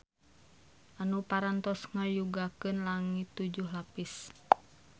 Anu parantos ngayugakeun langit tujuh lapis.